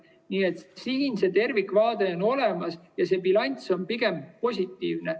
Nii et siin see tervikvaade on olemas ja bilanss on pigem positiivne.